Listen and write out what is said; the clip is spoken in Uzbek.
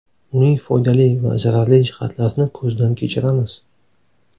Uning foydali va zararli jihatlarini ko‘zdan kechiramiz.